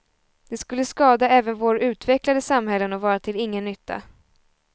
Det skulle skada även våra utvecklade samhällen och vara till ingen nytta.